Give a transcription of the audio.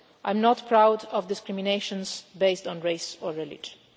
I am not proud of discriminations based on race or religion.